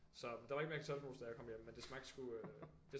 Så men der var ikke mere kartoffelmos da jeg kom hjem men det smagte sgu